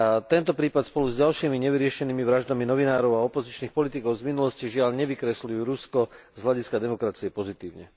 Tento prípad spolu s ďalšími nevyriešenými vraždami novinárov a opozičných politikov z minulosti, žiaľ, nevykresľujú Rusko z hľadiska demokracie pozitívne.